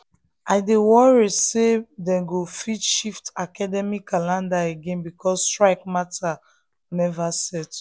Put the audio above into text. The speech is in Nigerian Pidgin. i dey worry say dem go shift academic calendar again because strike matter never settle.